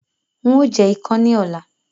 Ń ó jẹ̀ ikán ni ọ̀la.